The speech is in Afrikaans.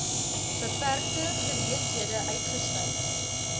beperkte geleenthede uitgestyg